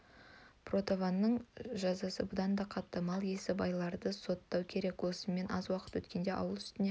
портаваның жазасы бұдан да қатты мал иесі байларды соттау керек осымен аз уақыт өткенде ауыл үстіне